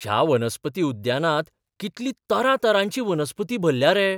ह्या वनस्पती उद्यानांत कितली तरातरांची वनस्पती भल्ल्या रे!